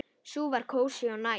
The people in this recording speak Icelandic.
Sú var kósí og næs.